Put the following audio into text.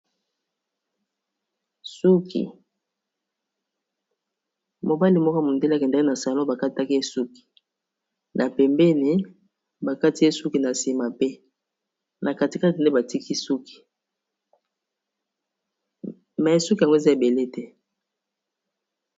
suki mobali moko mondele akendeki na salon bakataki esuki na pembeni bakati esuki na nsima pe na katikate nde batiki sukima esuki yango eza ebele te